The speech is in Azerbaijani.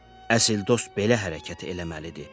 Əsil dost belə hərəkət eləməlidir.